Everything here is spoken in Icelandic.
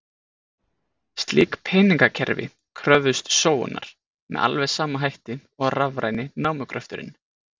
Slík peningakerfi kröfðust sóunar, með alveg sama hætti og rafræni námugröfturinn.